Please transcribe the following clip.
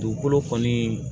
Dugukolo kɔni